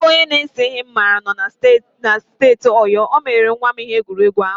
Ezigbo onye na-ese ihe m maara na-anọ na steeti Oyo, o mere nwa m ihe egwuregwu ahụ